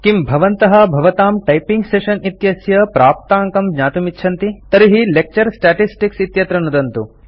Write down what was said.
किं भवन्तः भवतां टैपिंग् सेशन् इत्यस्य प्राप्ताङ्कं ज्ञातुमिच्छन्ति तर्हि लेक्चर स्टेटिस्टिक्स् इत्यत्र नुदन्तु